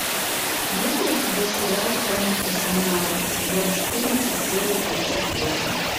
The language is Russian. есть ли у тебя сериал хроники шаннары сезон четырнадцать серия тридцать восемь